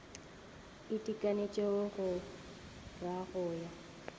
itekanetšego go ra go ja